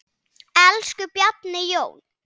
Elsku Bjarni Jón.